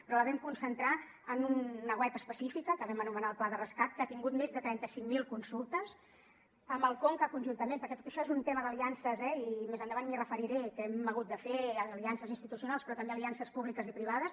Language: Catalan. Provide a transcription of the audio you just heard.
però la vam concentrar en una web específica que vam anomenar el pla de rescat que ha tingut més de trenta cinc mil consultes amb el conca conjuntament perquè tot això és un tema d’aliances eh i més endavant m’hi referiré que hem hagut de fer aliances institucionals però també aliances públiques i privades